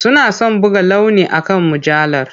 Suna son buga launi akan mujallar.